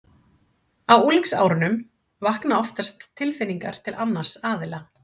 Á unglingsárunum vakna oftast tilfinningar til annars aðila.